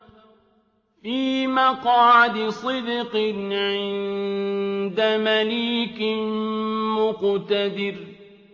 فِي مَقْعَدِ صِدْقٍ عِندَ مَلِيكٍ مُّقْتَدِرٍ